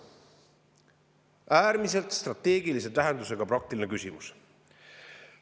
Äärmiselt strateegilise tähendusega praktiline küsimus.